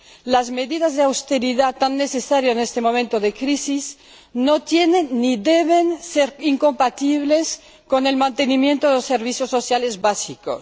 Las medidas de austeridad, tan necesarias en este momento de crisis, no deben ser incompatibles con el mantenimiento de los servicios sociales básicos.